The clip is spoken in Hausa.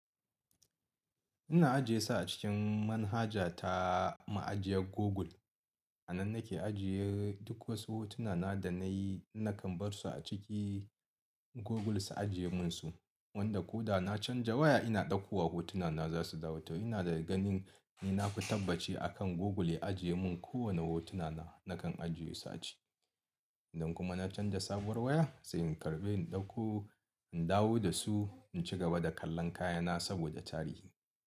Ina ajiye su a cikin manhaja ta ma'ajiyar Google. Nan nake ajiye duk wasu hotuna na da nayi nakan bar su aciki google su ajiye mini su wanda ko da na canza waya ina ɗauko wa hotuna na za su dawa. Ina da ganin ni fi tabbaci akan Google ya ajiye mun kowane hotuna na, nakan ajiye su a ciki. Idan kuma na canza sabuwar waya sai in karɓe, in ɗauko, in dawo da su in ci gaba da kallon kayana saboda tarihi.